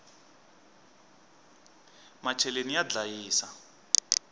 macheleni ya ndlayisa